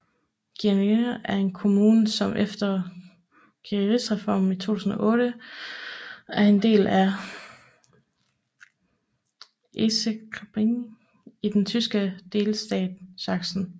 Gelenau er en kommune som efter Kreisreformen i 2008 er en del af Erzgebirgskreis i den tyske delstat Sachsen